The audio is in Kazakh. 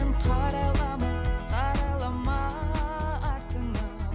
қарайлама қарайлама артыңа